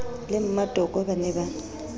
le mmatoko ba ne ba